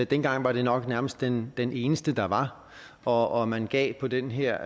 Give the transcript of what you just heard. dengang var det nok nærmest den den eneste der var og man gav på den her